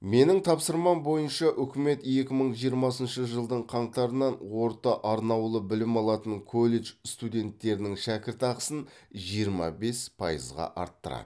менің тапсырмам бойынша үкімет екі мың жиырмасыншы жылдың қаңтарынан орта араулы білім алатын колледж студенттерінің шәкіртақысын жиырма бес пайызға арттырады